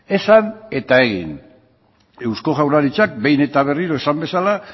esan eta egin eusko jaurlaritzak behin eta berriro esan bezala